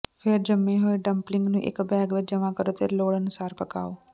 ਫਿਰ ਜੰਮੇ ਹੋਏ ਡਮਪਲਿੰਗ ਨੂੰ ਇੱਕ ਬੈਗ ਵਿੱਚ ਜਮ੍ਹਾਂ ਕਰੋ ਅਤੇ ਲੋੜ ਅਨੁਸਾਰ ਪਕਾਉ